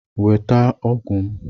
Nweta ọgwụ m!